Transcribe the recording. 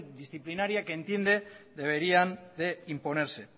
disciplinaria que entiende que deberían imponerse